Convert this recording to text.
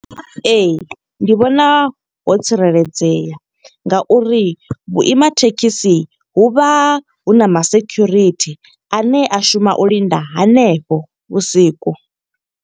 Ee, ndi vhona ho tsireledzea nga uri vhuima thekhisi hu vha huna ma sekhurithi. Ane a shuma u linda hanefho vhusiku.